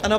Ano.